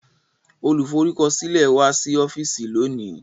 Olùforúkọsílẹ̀ wá sí ọ́fíìsì lónìí